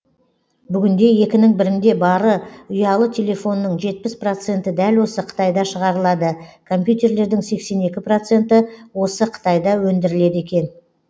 бүгінде екінің бірінде бары ұялы телефонның жетпіс проценті дәл осы қытайда шығарылады компьютерлердің сексен екі проценті осы қытайда өндіріледі екен